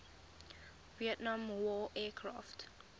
vietnam war aircraft